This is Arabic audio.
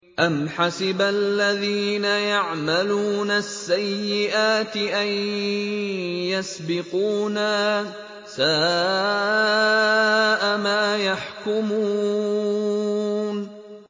أَمْ حَسِبَ الَّذِينَ يَعْمَلُونَ السَّيِّئَاتِ أَن يَسْبِقُونَا ۚ سَاءَ مَا يَحْكُمُونَ